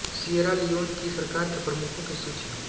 Sierra Leone की सरकार के प्रमुखों की सूची